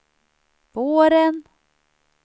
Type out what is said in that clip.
våren